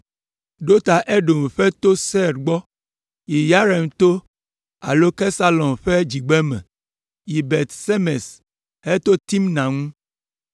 ɖo ta Edom ƒe to Seir gbɔ, yi Yearim to alo Kesalon ƒe dzigbeme, yi Bet Semes heto Timna ŋu.